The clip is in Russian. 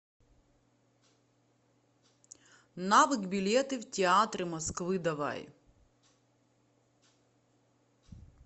навык билеты в театры москвы давай